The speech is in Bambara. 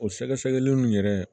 O sɛgɛsɛgɛli nun yɛrɛ